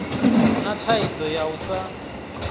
na thaidzo ya u sa